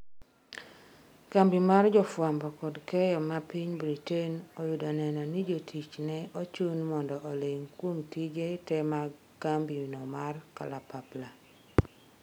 Kambi mar jofwambo kod keyo ma piny Britain oyudo neno ni jotich ne ochun mondo oling' kuom tije te mag kambi no mar kalapapla